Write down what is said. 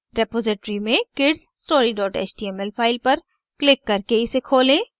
repository में kidsstory html file पर click करके इसे खोलें